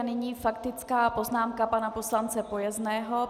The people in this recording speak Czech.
A nyní faktická poznámka pana poslance Pojezného.